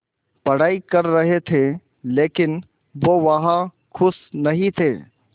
पढ़ाई कर रहे थे लेकिन वो वहां ख़ुश नहीं थे